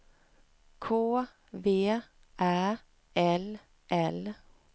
K V Ä L L